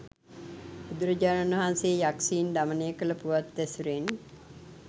බුදුරජාණන් වහන්සේ යක්‍ෂයින් දමනය කළ පුවත් ඇසුරෙන්